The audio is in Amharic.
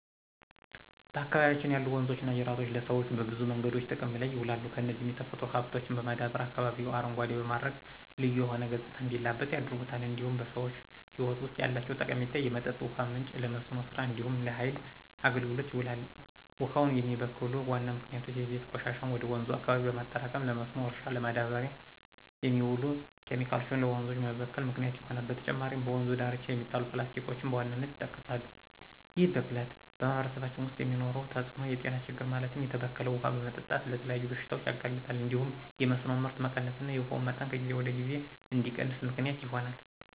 በአካባቢያችን ያሉ ወንዞችና ጅረቶች ለሰዎች በብዙ መንገዶች ጥቅም ላይ ይውላሉ፣ እነዚህም የተፈጥሮ ሀብቶችን በማዳበር አካባቢውን አረንጓዴ በማድረግ ልዩ የሆነ ገፅታ እንዲላበስ ያደርጉታል። እንዲሁም በሰዎች ህይወት ውስጥ ያላቸው ጠቀሜታ የመጠጥ ውሃ ምንጭ፣ ለመስኖ ስራ እንዲሁም ለሃይል አገልግሎት ይውላል። ውሃውን የሚበክሉ ዋና ምክንያቶች የቤት ቆሻሻን ወደ ወንዙ አካባቢ በማጠራቀም፣ ለመስኖ እርሻ ለማዳበር የሚውሉ ኬሚካሎች ለወንዞች መበከል ምክንያት ይሆናሉ። በተጨማሪም በወንዙ ዳርቻ የሚጣሉ ፕላስቲኮችን በዋናነት ይጠቀሳሉ። ይህ ብክለት በማህበረሰባችን ውስጥ የሚፈጥረው ተፅዕኖ የጤና ችግር ማለትም የተበከለ ውሃ በመጠጣት ለተለያዩ በሽታዎች ያጋልጣል እንዲሁም የመስኖ ምርት መቀነስና የውሃው መጠን ከጊዜ ወደ ጊዜ እንዲቀንስ ምክንያት ይሆናል።